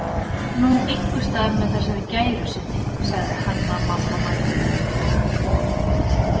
Nú, einhvers staðar með þessari gæru sinni, sagði Hanna-Mamma mæðuleg.